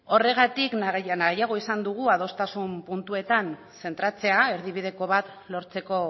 horregatik nahiago izan dugu adostasun puntuetan zentratzea erdibideko bat lortzeko